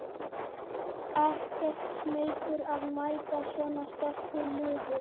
Ekkert smeykur að mæta svona sterku liði?